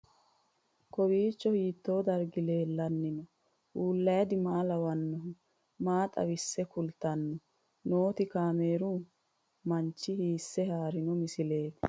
Kowiicho hiito dargi leellanni no ? ulayidi maa lawannoho ? maa xawisse kultanni noote ? kaameru manchi hiisse haarino misileeti?